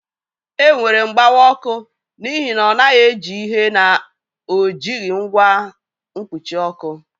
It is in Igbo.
Enwere mgbawa ọkụ n'ihi na ọ naghị eji ihe na ọ jighị ngwa mkpuchi ọkụ